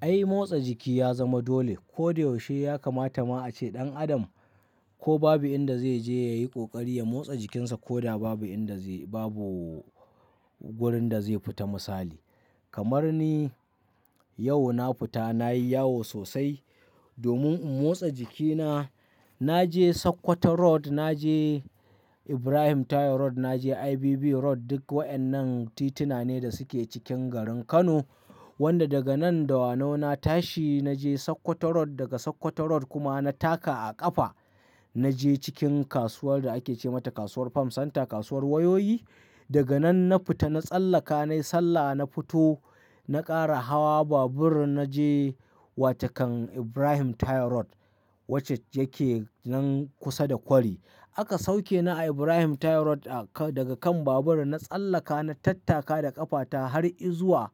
Ai motsa jiki ya zama dole. Ko da yaushe ya kamata ma a ce ɗan adam ko babu inda zai je ya yi ƙoƙari ya motsa jikinsa ko ba babu inda zai, babu wurin da zai fita misali. Kamar ni yau na futa, na yi yawo sosai domin in motsa jikina. Na je Sokoto Road, na je Ibrahim Taye Road, na je IBB Road. Duk waƴannan tituna ne da suke cikin garin Kano, wanda daga nan da wanau na tashi. Na je Sokoto Road, daga Sokoto Road kuma na taka a ƙafa na je cikin kasuwar da ake ce mata Kasuwar Farm Center, Kasuwar Wayoyi. Daga nan na fita, na tsallaka nayi sallah, na fito, na ƙara hawa babur na je wa takan Ibrahim Taye Road wacce yake nan kusa da kwari. Aka sauke ni a Ibrahim Taye Road daga kan babur. Na tsallaka, na tattaka da ƙafata har izuwa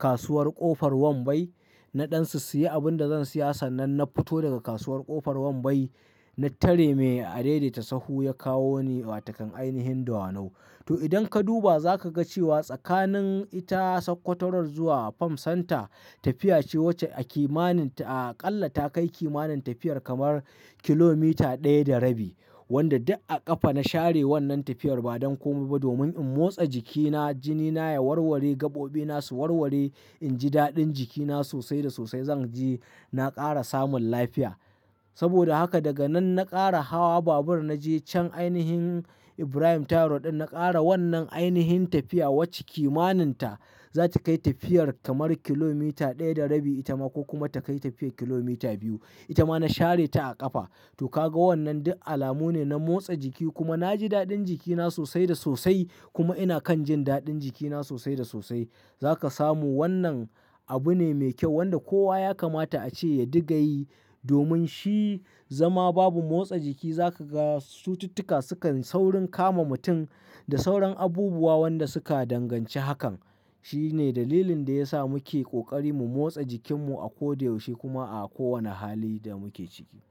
Kasuwar Ƙofar Wambai. Na ɗan sissiyi abin da zan siya sannan na futo daga Kasuwar Ƙofar Wambai. Na tare mai a dai dai ta sahu ya kawo ni wa takan ainihin da wanau. To idan ka duba za ka ga cewa tsakanin ita Sokoto Road zuwa Farm Center tafiya ce wacce a kimanin ta aƙalla ta kai kimanin tafiyar kamar kilomita ɗaya da rabi, wanda duk a ƙafa na share wannan tafiyar ba don komai ba domin in motsa jikina, jini na ya warware, gaɓoɓi na su warware, in ji daɗin jikina sosai da sosai zan ji na ƙara samun lafiya. Saboda haka daga nan na ƙara hawa babur, na je can ainihin Ibrahim Taye Road ɗin. Na ƙara wannan ainihin tafiya wacce kimanin ta za ta kai tafiyar kamar kilomita ɗaya da rabi ita ma ko kuma ta kai tafiyar kilomita biyu. Ita ma na share ta a ƙafa. To ka ga wannan duk alamu ne na motsa jiki kuma na ji daɗin jikina sosai da sosai kuma ina kan jin daɗin jikina sosai da sosai. Za ka samu wannan abu ne mai kyau wanda kowa ya kamata a ce ya diga yi domin shi zama babu motsa jiki za ka ga sututtuka sukan saurin kama mutum da sauran abubuwa wanɗa suka danganci hakan. Shi ne dalilin da ya sa muke ƙoƙari mu motsa jikinmu a ko da yaushe kuma a kowane hali da muke ciki.